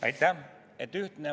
Aitäh!